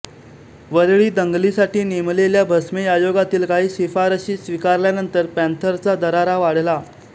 वरीळी दंगलीसाठी नेमलेल्या भस्मे आयोगातील काही शिफारशी स्विकारल्यानंतर पॅंथरचा दरारा वाढला